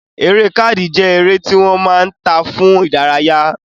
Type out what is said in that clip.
Eré káàdì jẹ́ eré tí wọ́n máa ń ta fún ìdárayá